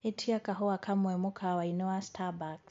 ĩtĩa kahũa kamwe mũkawaĩni wa starbucks